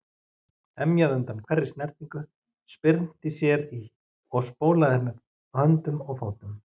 Emjaði undan hverri snertingu, spyrnti sér í og spólaði með höndum og fótum.